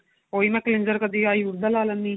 ਉਹੀ ਮੈਂ cleanser ਕਦੀ ayur ਦਾ ਲਾ ਲੈਨੀ ਆ